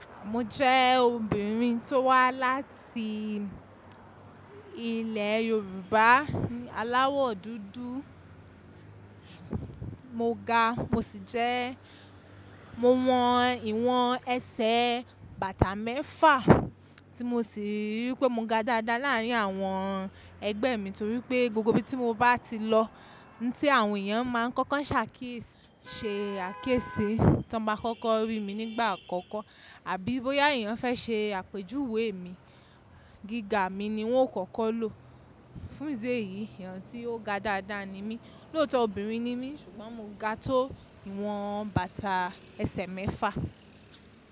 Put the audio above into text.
Mo jẹ́ obìnrin tó wá láti ilẹ̀ Yorùbá, aláwọ̀ dúdú, mo ga mo sì jẹ́, mo wọn ìwọ̀n ẹsẹ̀ bàtà mẹ́fà tí mo sì rí pé mo ga dáadáa láàrín àwọn ẹgbẹ́ mi torí pé gbogbo ibi tí mo bá ti lọ ní tí àwọn èèyàn máa ń kọ́kọ́ ṣàkésí, ṣe àkésí tí wọ́n bá kọ́kọ́ rí mi nígbà àkọ́kọ́ àbí bóyá èèyàn fẹ́ ṣe àpèjúwe mi, gíga mi ni wọ́n ó kọ́kọ́ lò. Fún idi eyìí, èèyàn tí ó ga dáadáa ni mí, lóòtọ́ obìnrin ni mí ṣùgbọ́n mo ga tó ìwọ̀n bàtà ẹsẹ̀ mẹ́fà.